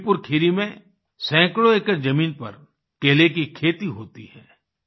लखीमपुर खीरी में सैकड़ों एकड़ जमीन पर केले की खेती होती है